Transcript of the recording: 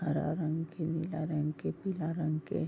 हरा रंग के नीला रंग के पीला रंग के --